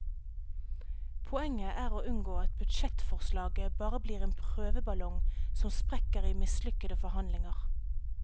Poenget er å unngå at budsjettforslaget bare blir en prøveballong som sprekker i mislykkede forhandlinger.